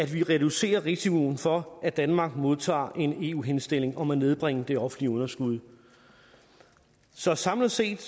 vi reducerer risikoen for at danmark modtager en eu henstilling om at nedbringe det offentlige underskud så samlet set